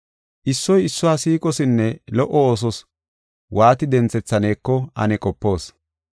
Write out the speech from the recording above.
Issoy issuwa siiqosinne lo77o oosos waati denthethaneko ane qopoos.